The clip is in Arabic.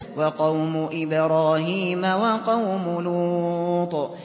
وَقَوْمُ إِبْرَاهِيمَ وَقَوْمُ لُوطٍ